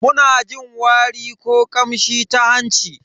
Muna jin wari ko kamshi ta hanci.